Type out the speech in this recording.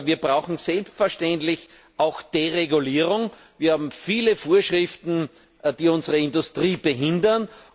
Wir brauchen selbstverständlich auch Deregulierung. Wir haben viele Vorschriften, die unsere Industrie behindern.